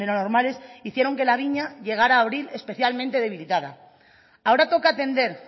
normales hicieron que la viña llegara a abrir especialmente debilitada ahora toca atender